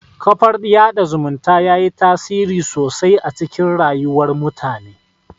Kafar yaɗa zumunta yayi tasiri sosai a cikin rayuwar mutane